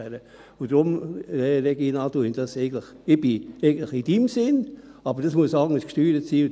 Deshalb, Regina Fuhrer, sehe ich es eigentlich in Ihrem Sinn, aber es muss anders gesteuert werden.